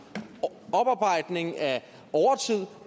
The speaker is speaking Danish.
oparbejdning af overtid